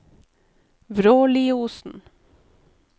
Vråliosen